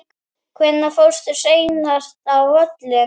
Hvenær fórstu seinast á völlinn?